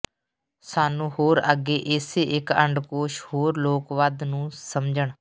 ਸਾਨੂੰ ਹੋਰ ਅੱਗੇ ਇਸੇ ਇੱਕ ਅੰਡਕੋਸ਼ ਹੋਰ ਲੋਕ ਵੱਧ ਨੂੰ ਸਮਝਣ